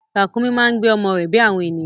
Ràkúnmí máa ń gbé ọmọ rẹ bí àwọn ènìyàn.